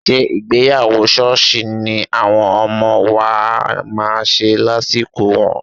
Ṣé ìgbéyàwó ṣọ́ọ̀ṣì ni àwọn ọmọ wa máa ṣe lásìkò wọn?